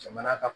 Jamana ka